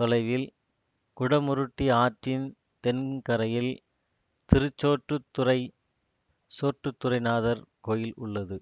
தொலைவில் குடமுருட்டி ஆற்றின் தென் கரையில் திருச்சோற்றுத்துறை சோற்றுத்துறைநாதர் கோயில் உள்ளது